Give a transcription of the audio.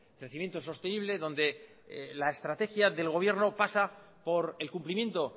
crecimiento sostenible donde la estrategia del gobierno pasa por el cumplimiento